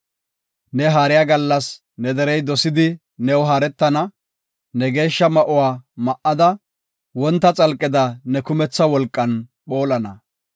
Ne haariya gallas ne derey dosidi new haaretana; ne geeshsha ma7uwa ma7ada, wonta xalqeda ne kumetha wolqan phoolana.